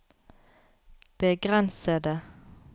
begrensede